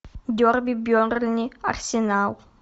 дерби бернли арсенал